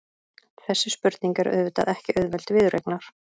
Þessi spurning er auðvitað ekki auðveld viðureignar.